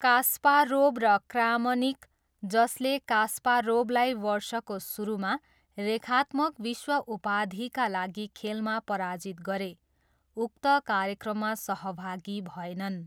Kasparov र Kramnik, जसले कास्पारोभलाई वर्षको सुरुमा रेखात्मक विश्व उपाधिका लागि खेलमा पराजित गरे, उक्त कार्यक्रममा सहभागी भएनन्।